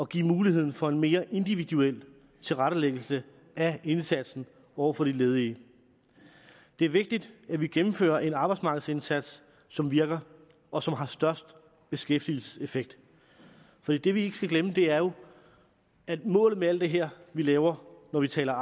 give mulighed for en mere individuel tilrettelæggelse af indsatsen over for de ledige det er vigtigt at vi gennemfører en arbejdsmarkedsindsats som virker og som har størst beskæftigelseseffekt for det vi ikke skal glemme er jo at målet med alt det her vi laver når vi taler